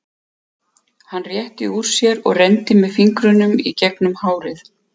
Hann rétti úr sér og renndi með fingrunum í gegnum hárið.